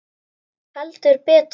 Heldur betur!